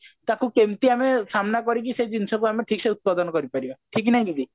ତାକୁ କେମତି ଆମେ ସାମ୍ନା କରିକି ସେ ଜିନିଷ କୁ ଆମେ ଠିକ ସେ ଉତ୍ପାଦନ କରି ପାରିବା ଠିକ କି ନାଇଁ ଦିଦି